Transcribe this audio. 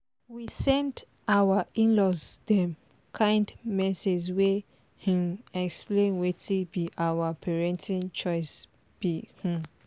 we send our in-laws dem kind message wey um explain wetin be our parenting choice be um